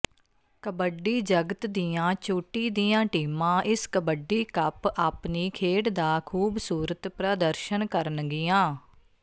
ਕਬੱਡੀ ਜਗਤ ਦੀਆਂ ਚੋਟੀ ਦੀਆ ਟੀਮਾਂ ਇਸ ਕਬੱਡੀ ਕੱਪ ਆਪਣੀ ਖੇਡ ਦਾ ਖੂਸਸੂਰਤ ਪ੍ਰਦਰਸ਼ਨ ਕਰਨਗੀਆ